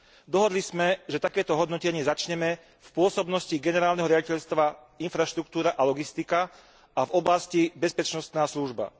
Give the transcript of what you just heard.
Dohodli sme, že takéto hodnotenie začneme v pôsobnosti Generálneho riaditeľstva Infraštruktúra a logistika a v oblasti Bezpečnostná služba.